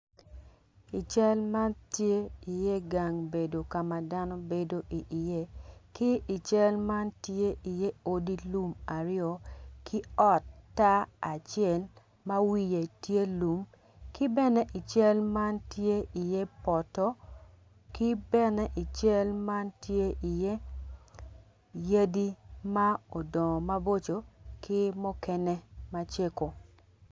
I cal man tye dano ma gubedo ka ma dano bedo iye ki i cal man tye iye odi lum aryo ki ot tar acel ma wiye tye lum ki bene i cal man tye iye poto ki bene i cal man tye iye yadi.